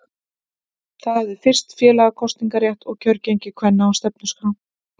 Það hafði fyrst félaga kosningarétt og kjörgengi kvenna á stefnuskrá.